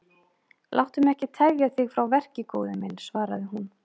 Láttu mig ekki tefja þig frá verki góði minn, svaraði hún.